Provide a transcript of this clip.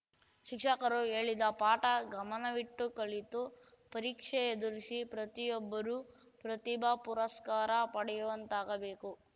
ಶಿಕ್ಷಕರು ಹೇಳಿದ ಪಾಠ ಗಮನವಿಟ್ಟು ಕಲಿತು ಪರೀಕ್ಷೆ ಎದುರಿಸಿ ಪ್ರತಿಯೊಬ್ಬರೂ ಪ್ರತಿಭಾ ಪುರಸ್ಕಾರ ಪಡೆಯುವಂತಾಗಬೇಕು